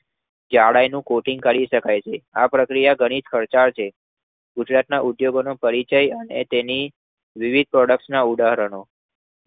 જાડાઈનું coating કરી શકાય છે. આ પ્રક્રિયા ઘણી જ ખર્ચાળ છે. ગુજરાતના ઉદ્યોગોનો પરિચય અને તેની વિવિધ product નાં ઉદાહરણો